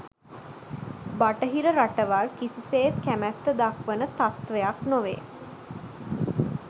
බටහිර රටවල් කිසිසේත් කැමැත්ත දක්වන තත්ත්වයක් නොවේ